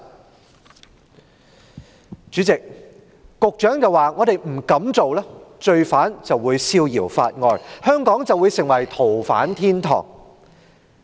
代理主席，局長表示，如果我們不這樣做，罪犯便會逍遙法外，香港便會成為逃犯天堂。